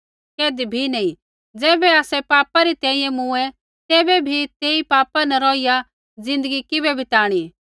कैधी बी नैंई ज़ैबै आसै पापा रै तैंईंयैं मूँऐ तैबै बी तेई पापा न रोहिया ज़िन्दगी किबै बिताणी